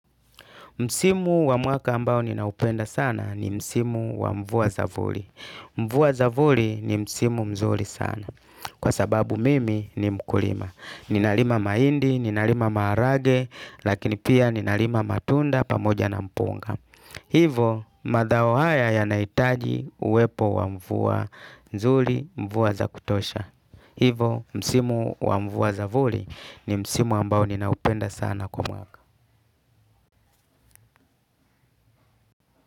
Msimu wa mwaka ambao ninaupenda sana ni msimu wa mvua zavuli. Mvua zavuli ni msimu mzuri sana. Kwa sababu mimi ni mkulima. Ninalima mahindi, ninalima maharagwe. Lakini pia ninalima matunda pamoja na mpunga. Hivo, mazao haya yanahitaji uwepo wa mvua nzuri mvua za kutosha. Hivo, msimu wa mvua zavuli ni msimu ambao ninaupenda sana kwa mwaka.